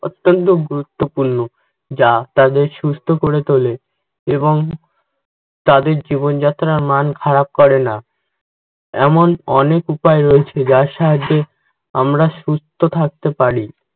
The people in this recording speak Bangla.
অত্যন্ত গুরুত্বপূর্ণ যা তাদের সুস্থ করে তোলে এবং তাদের জীবনযাত্রার ম্যান খারাপ করেনা। এমন অনেক উপায় রয়েছে যার সাহায্যে আমরা সুস্থ থাকতে পারি